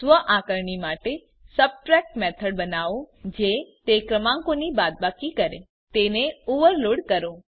સ્વઆકારણી માટે subtract method બનાવો જે તે ક્રમાંકોની બાદબાકી કરે તેને ઓવરલોડ કરો